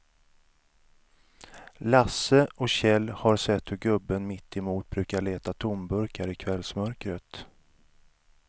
Lasse och Kjell har sett hur gubben mittemot brukar leta tomburkar i kvällsmörkret.